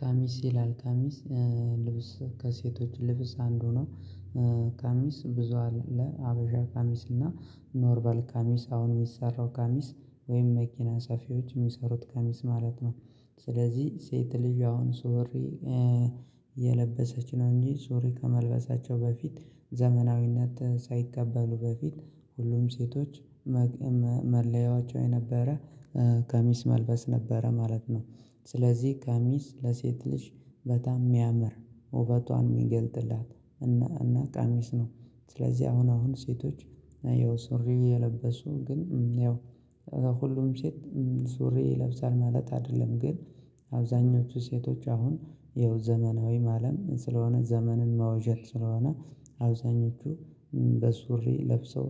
ቀሚስ ይላል ቀሚስ ልብስ ከሴቶች ልብስ አንዱ ነው። ቀሚስ ብዙ አለ ሀበሻ ቀሚስ እና ኖርባል ቀሚስ አሁን የሚሰራው ቀሚስ ወይም መኪና ሰፊዎች የሚሰሩት ቀሚስ ማለት ነው። ስለዚህ ሴት ልጅ አሁን ሱሪ የለበሰች ነው እንጂ ሱሪ ከመልበሳቸው በፊት ዘመናዊነት ሳይቀበሉ በፊት ሁሉም ሴቶች መለያዎቸው የነበረ ቀሚስ መልበስ ነበረ ማለት ነው። ስለዚህ ቀሚስ ለሴት ልጅ በጣም የሚያምር ውበቷን የሚገልጥላት እና እና ቀሚስ ነው። ስለዚህ አሁን አሁን ሴቶች ይኸው ሱሪ የለበሱ ግን ይኸው ከሁሉም ሴት ሱሪ ይለብሳል ማለት አይደለም ግን። አብዛኞቹ ሴቶች አሁን ይኸው ዘመናዊ ማለም ስለሆነ ዘመንን መውዣት ስለሆነ አብዛኞቹ በሱሪ ለብሰው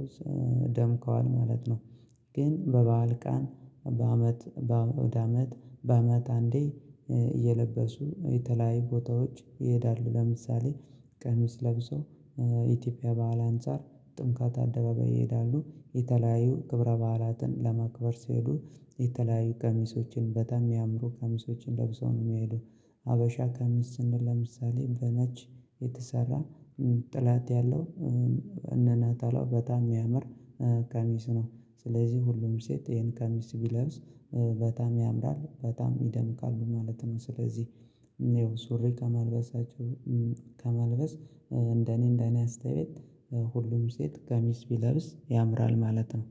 ደምቀዋል ማለት ነው። ግን በበዓል ቀን በአመት በአውደአመት በአመት አንዴ እየለበሱ የተለያዩ ቦታዎች ይሄዳሉ ለምሳሌ። ቀሚስ ለብሶ ኢትዮጵያ በዓል አንፃር ጥምቀት አደባባይ ይሄዳሉ የተለያዩ ክብረ በዓላትን ለማክበር ሲሄዱ የተለያዩ ቀሚሶችን በጣም የሚያምሩ ቀሚሶችን ለብሰው ነው የሚሄዱት። ሀበሻ ቀሚስ ስንል ለምሳሌ በነች የተሰራ ጠለት ያለው ከነነጠላውሁ በጣም የሚያምር ቀሚስ ነው። ስለዚህ ሁሉም ሴት ይሄን ቀሚስ ቢለብስ በጣም ያምራል በጣም ይደምቃሉ ማለት ነው። ስለዚህ ነው ሱሪ ከመልበሳቸው ከመልበስ እንደኔ እንደኔ አስተያየት ሁሉም ሴት ቀሚስ ቢለብስ ያምራል ማለት ነው።